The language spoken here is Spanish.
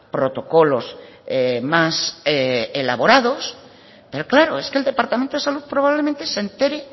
protocolos más elaborados pero claro es que el departamento de salud probablemente se entere